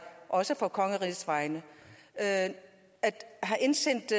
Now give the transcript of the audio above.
også for kongeriget at have indsendt